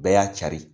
Bɛɛ y'a cari